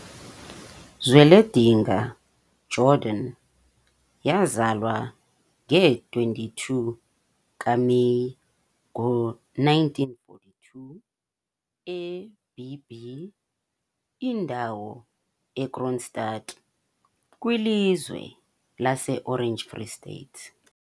Zweledinga Jordan yazalwa nge-22 kaMeyi ngo-1942 eB B Indawo, eKroonstad, kwiLizwe lase-Orange Free State.